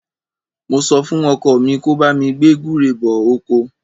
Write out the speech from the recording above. Mo sọ fún ọkọ mi kí ó bá mi gbé gúre bọ oko.